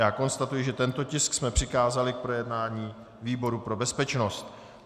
Já konstatuji, že tento tisk jsme přikázali k projednání výboru pro bezpečnost.